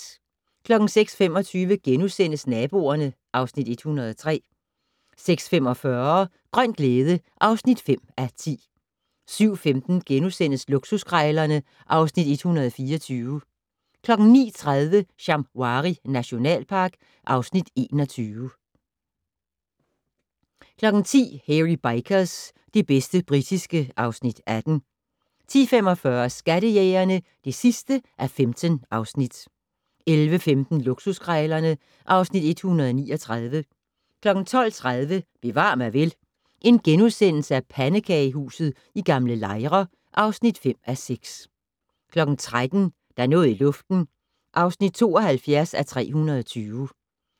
06:25: Naboerne (Afs. 103)* 06:45: Grøn glæde (5:10) 07:15: Luksuskrejlerne (Afs. 124)* 09:30: Shamwari nationalpark (Afs. 21) 10:00: Hairy Bikers - det bedste britiske (Afs. 18) 10:45: Skattejægerne (15:15) 11:15: Luksuskrejlerne (Afs. 139) 12:30: Bevar mig vel: Pandekagehuset i Gl. Lejre (5:6)* 13:00: Der er noget i luften (72:320)